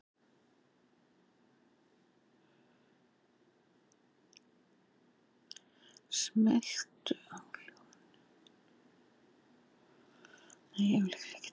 Í Suðvestur-, Vestur- og Norðvestur-Evrópu voru miklir hitar og þurrkar.